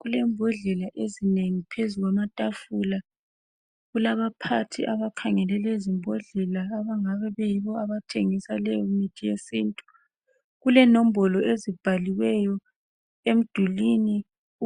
Kulembodlela ezinengi phezulu kwamatafula kulaba phathi abakhangele lezombodlela abangabe beyibo abathengisa leyo mithi yesintu kulenombolo ezimbaliweyo emdulwini